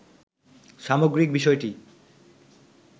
সামগ্রিক বিষয়টি